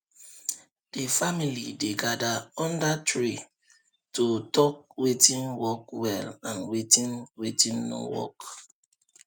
the family dey gather under tree to talk watin work well and watin watin no work